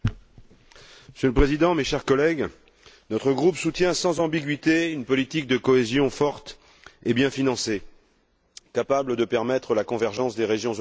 Monsieur le Président, chers collègues, notre groupe soutient sans ambiguïté une politique de cohésion forte et bien financée, capable de faciliter la convergence des régions européennes.